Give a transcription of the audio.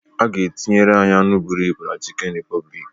A ga-etinyere anyị anụ bụrụ ibu na chicken repubic